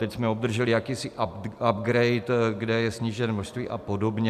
Teď jsme obdrželi jakýsi upgrade, kde je sníženo množství a podobně.